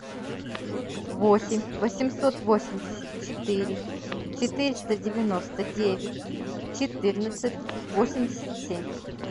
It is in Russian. восемь восемьсот восемьдесят четыре четыреста девяносто девять четырнадцать восемьдесят семь